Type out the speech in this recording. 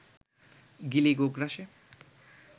গিলি, গোগ্রাসে